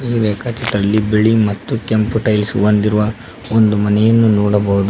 ಈ ರೇಖಚಿತ್ರದಲಿ ಬಿಳಿ ಮತ್ತು ಕೆಂಪು ಟೈಲ್ಸ್ ಹೊಂದಿರುವ ಒಂದು ಮನೆಯನ್ನು ನೋಡಬಹುದು.